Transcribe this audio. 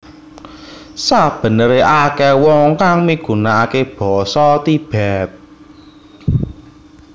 Sabenere akeh wong kang migunakake basa Tibet